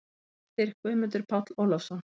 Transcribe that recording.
Heimildir: Guðmundur Páll Ólafsson.